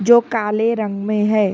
जो काले रंग में है।